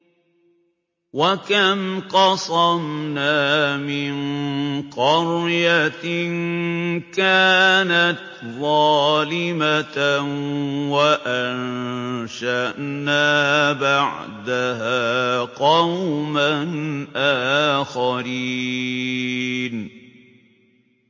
وَكَمْ قَصَمْنَا مِن قَرْيَةٍ كَانَتْ ظَالِمَةً وَأَنشَأْنَا بَعْدَهَا قَوْمًا آخَرِينَ